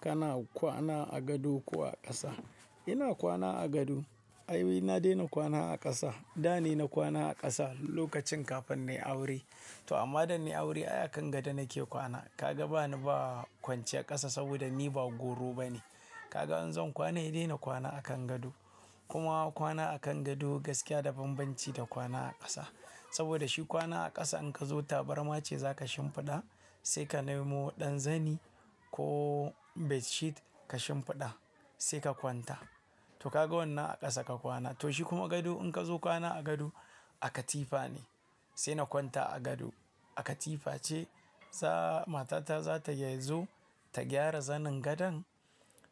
Kana kwana a gado ko a ƙasa? Ina kwana a gado. Ai, na daina kwana a ƙasa. Da ne na kwana a ƙasa lokacin kafin na yi aure. To amma da nayi aure, ai akan gado nake kwana. Ka ga ba ni ba kwanciyar ƙasa saboda ni ba gwauro ba ne. Ka ga in zan kwana, se dai na kwana akan gado. Kuma kwana akan gado gaskiya da banbanci da kwana a ƙasa. Saboda shi kwana a ƙasa in ka zo tabarma ce za ka shimfiɗa, sai ka nemo ɗan zani ko bedsheet ka shimfiɗa sai ka kwanta. To ka ga wannan a ƙasa ka kwana. To shi kuma gado in ka zo kwana a gado, a katifa ne sai na kwanta a gado. A katifa ce sa matata za tazo ta gyara zanin gadon,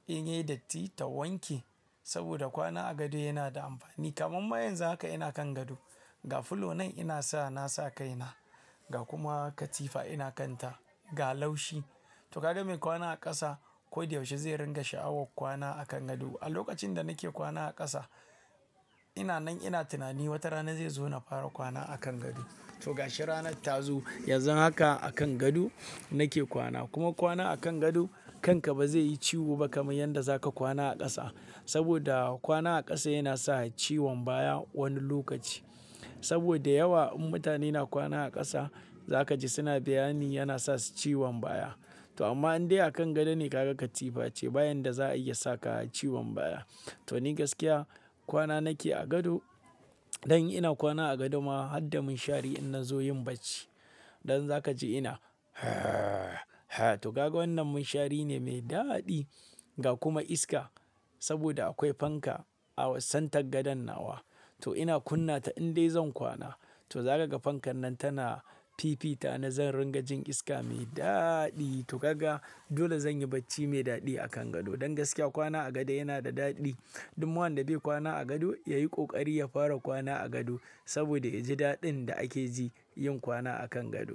in yai datti ta wanke. Saboda kwana a gado yana da amfani kamar ma yanzu haka ina kan gado. Ga fuloin ina sa na sa kaina ga kuma katifa ina kanta ga laushi. To ka ga mai kwana a ƙasa ko da yaushe zai ringa sha'awar kwana akan gado. A lokacin da nake kwana a ƙasa, ina nan ina tunani wata rana zai zo na fara kwana akan gado. To ga shi ranar ta zo, yanzu haka akan gado nake kwana. Kuma kwana akan gado kanka ba zai yi ciwo ba kamar yadda za ka kwana a ƙasa. Saboda kwana a ƙasa yana sa ciwon baya wani lokaci. Saboda yawa mutane na kwana a ƙasa za ka ji suna bayani yana sa su ciwon baya. To amma in dai akan gado ne ka ga katifa ce ba yanda za'ayi ya saka ciwon baya. To ni gaskiya kwana nake a gado. Dan in ina kwana a gado ma har da munshari in na zo yin bacci. Dan za ka ji ina to ka ga wannan munshari ne mai daɗi ga kuma iska saboda akwai fanka a center gadon nawa. To ina kunna ta in dai zan kwana. To za ka ga fankan nan tana fifita ni zan ringa jin iska mai daɗi. To ka ga dole zan yi bacci mai daɗi akan gado. Don gaskiya kwana a gado yana da daɗi. Duk wanda bai kwana a gado ya yi ƙoƙari ya fara kwana a gado saboda ya ji daɗin da ake ji yin kwana akan gado.